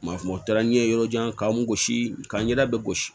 Maa o taara n ye yɔrɔ jan k'an gosi ka n ɲɛda bɛ gosi